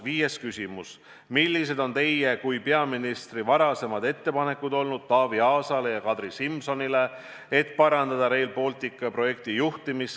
Viies küsimus: "Millised on teie kui peaministri varasemad ettepanekud olnud Taavi Aasale ja Kadri Simsonile, et parandada Rail Balticu projektijuhtimist?